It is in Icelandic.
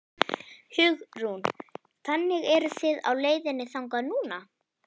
Hugrún: Þannig eruð þið á leiðinni þangað núna?